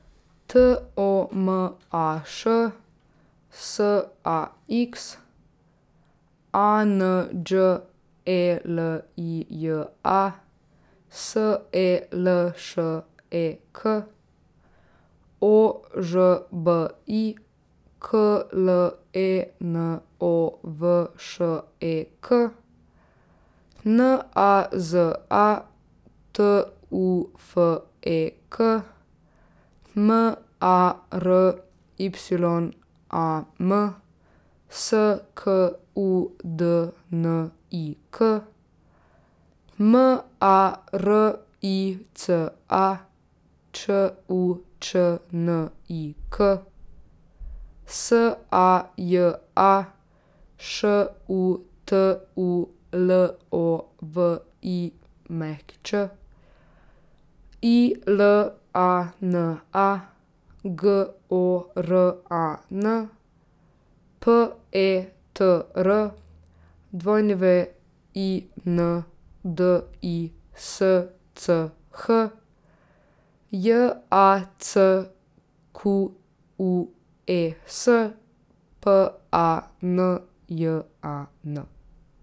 T O M A Š, S A X; A N Đ E L I J A, S E L Š E K; O Ž B I, K L E N O V Š E K; N A Z A, T U F E K; M A R Y A M, S K U D N I K; M A R I C A, Č U Č N I K; S A J A, Š U T U L O V I Ć; I L A N A, G O R A N; P E T R, W I N D I S C H; J A C Q U E S, P A N J A N.